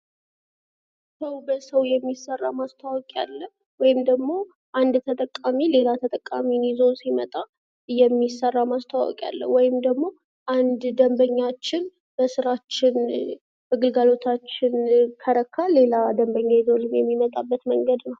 ሰው በሰው የሚሰራ ማስታወቂያ ወይም ደግሞ አንድ ተጠቃሚ ሌላ ተጠቃሚን ይዞ ሲመጣ የሚሰራ ማስታወቂያ ወይም ደግሞ አንድ ደምበኛችን በስራችን በግልጋሎታችን ከረካ ሌላ ደንበኛ ይዞልን የሚመጣበት መንገድ ነው።